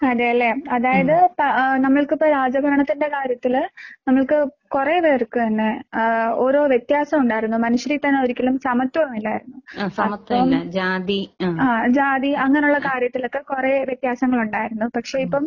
അതേല്ലേ, അതായത് പാ നമ്മൾക്കിപ്പെ രാജഭരണത്തിന്റെ കാര്യത്തില് നമ്മൾക്ക് കൊറേ പേർക്ക് തന്നെ ആഹ് ഓരോ വ്യത്യാസമുണ്ടായിരുന്നു. മനുഷ്യരിൽ തന്നെ ഒരിക്കലും സമത്വം ഇല്ലായിരുന്നു. അപ്പം ആഹ് ജാതി അങ്ങനുള്ള കാര്യത്തിലൊക്കെ കൊറേ വ്യത്യാസങ്ങളുണ്ടായിരുന്നു. പക്ഷെ ഇപ്പം